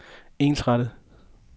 ensrettet